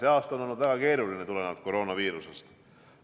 See aasta on olnud väga keeruline koroonaviiruse tõttu.